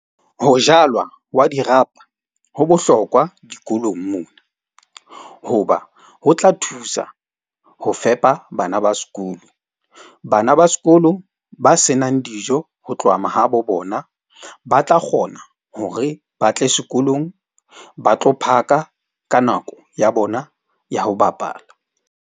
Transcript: Ho jalwa wa dirapa ho bohlokwa dikolong mona. Hoba ho tla thusa ho fepa bana ba sekolo. Bana ba sekolo ba senang dijo ho tloha mahabo bona, ba tla kgona hore ba tle sekolong, ba tlo phaka ka nako ya bona ya ho bapala.